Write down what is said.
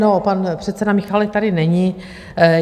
No, pan předseda Michálek tady není.